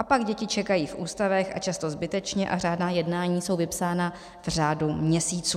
A pak děti čekají v ústavech, a často zbytečně, a řádná jednání jsou vypsána v řádu měsíců.